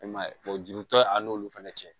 E man ye juru tɔ ye a n'olu fana cɛ